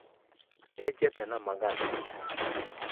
Eenjete na magathĩ